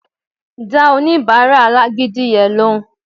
Dá oníbàárà alágídí yẹn lóhùn